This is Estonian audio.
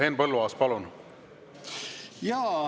Henn Põlluaas, palun!